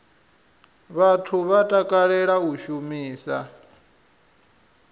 vhathu vha takalela u shumisa